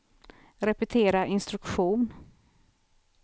repetera instruktion